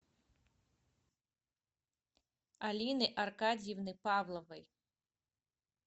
алины аркадьевны павловой